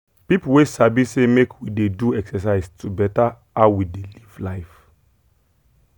people wey sabi say make we dey do exercise to better how we dey live life.